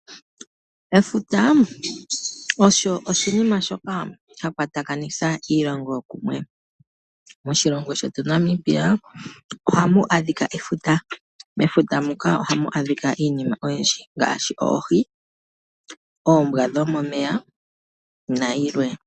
Efuta olyo oshinima shoka sha kwatakanitha iilongo kumwe. Moshilongo shetu Namibia ohamu adhika efuta. Mefuta muka ohamu adhika iinima oyindji ngaashi oohi, oombwa dho momeya nayilwe.